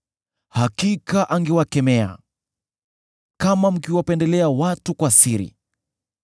Hakika angewakemea kama mkiwapendelea watu kwa siri.